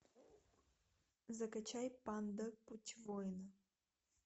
закачай панда путь воина